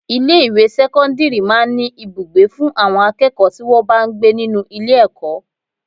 Ilé ìwé sẹ́kọ́ńdírì máa ń ní Ibùgbé fún àwọn akẹ́kọ̀ọ́ tí wọn bá ń gbé nínú ilé ẹ̀kọ́.